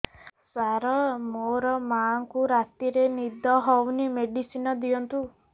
ସାର ମୋର ମାଆଙ୍କୁ ରାତିରେ ନିଦ ହଉନି ମେଡିସିନ ଦିଅନ୍ତୁ